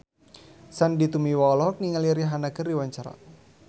Sandy Tumiwa olohok ningali Rihanna keur diwawancara